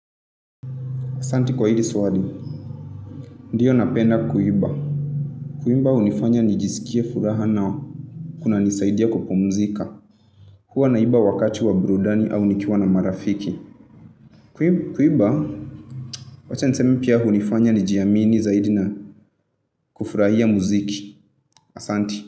Asante kwa hili swali. Ndiyo napenda kuiba. Kuimba hunifanya nijisikie furaha. Kuna nisaidia kupumzika. Huanaimba wakati wa burudani au nikiwa na marafiki. Kuimba, wacha nisemi pia hunifanya nijiamini zaidi na kufurahia mziki. Asante.